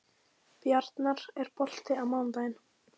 Bjarnar, er bolti á mánudaginn?